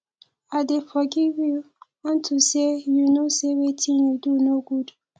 i dey forgive you unto say you know say wetin you do no good